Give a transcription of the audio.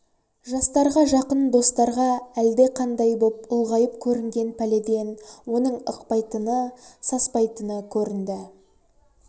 жастарға жақын достарға әлдеқандай боп ұлғайып көрінген пәледен оның ықпайтыны саспайтыны көрінді